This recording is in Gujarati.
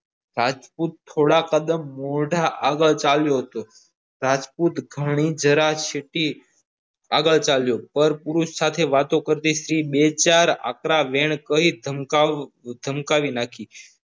રાજપુત થોડા કદમ મોઢા આગળ ચાલ્યો હતો રાજપુત ગણી શકાજીરી આગળ ચાલ્યો પણ પુરુષ સાથે વાતો કરતી સ્ત્રી બે ચાર આંકડા વેણ કહી ધમકાવવા ધમકાવી નાખી.